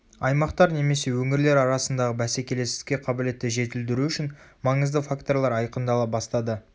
аймақтар немесе өңірлер арасындағы бәсекелестікке қабілетті жетілдіру үшін маңызды факторлар айқындала бастады